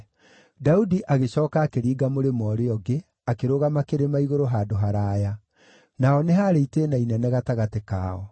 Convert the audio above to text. Daudi agĩcooka akĩringa mũrĩmo ũrĩa ũngĩ, akĩrũgama kĩrĩma-igũrũ handũ haraaya; naho nĩ haarĩ itĩĩna inene gatagatĩ kao.